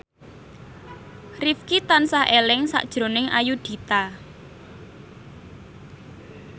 Rifqi tansah eling sakjroning Ayudhita